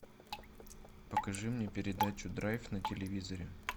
покажи мне передачу драйв на телевизоре